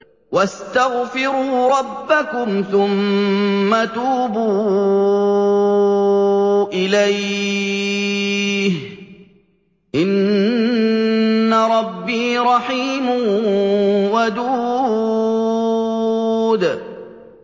وَاسْتَغْفِرُوا رَبَّكُمْ ثُمَّ تُوبُوا إِلَيْهِ ۚ إِنَّ رَبِّي رَحِيمٌ وَدُودٌ